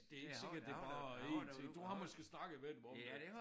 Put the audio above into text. Det ikke sikkert det bare 1 ting du har måske snakket med dem om det?